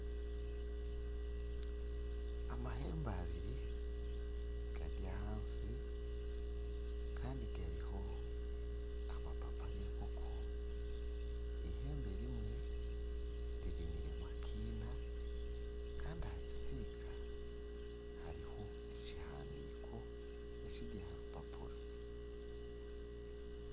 Amahembe abiri gari ahansi kandi gariho amapapa g'enkoko, ihembe rimwe ririmiremu akina kandi aha kisiika hariho ekihandiiko ekiri aha rupapura.